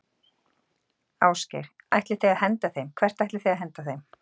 Ásgeir: Ætlið þið að henda þeim, hvert ætlið þið að henda þeim?